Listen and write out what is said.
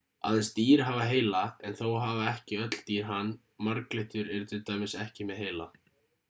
aðeins dýr hafa heila en þó hafa ekki öll dýr hann marglyttur eru til dæmis ekki með heila